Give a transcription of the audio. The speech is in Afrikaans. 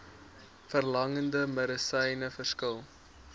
verlangde medisyne verskil